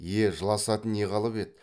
е жыласатын не қалып еді